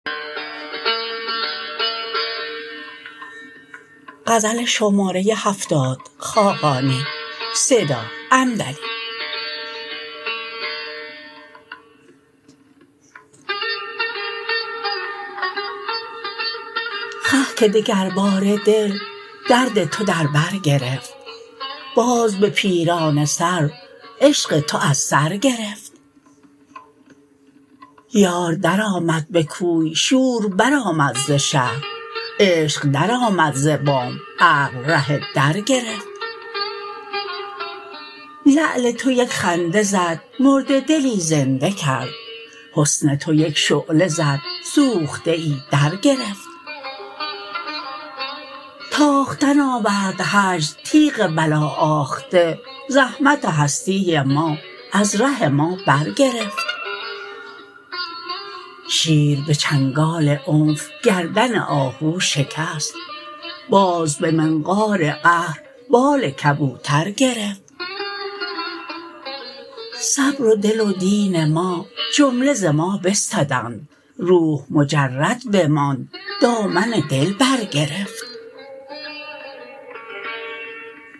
خه که دگرباره دل درد تو در برگرفت باز به پیرانه سر عشق تو از سر گرفت یار درآمد به کوی شور برآمد ز شهر عشق در آمد ز بام عقل ره در گرفت لعل تو یک خنده زد مرده دلی زنده کرد حسن تو یک شعله زد سوخته ای درگرفت تاختن آورد هجر تیغ بلا آخته زحمت هستی ما از ره ما برگرفت شیر به چنگال عنف گردن آهو شکست باز به منقار قهر بال کبوتر گرفت صبر و دل و دین ما جمله ز ما بستدند روح مجرد بماند دامن دل برگرفت